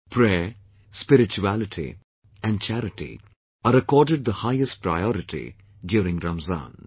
Prayer, spirituality and charity are accorded the highest priority during Ramzan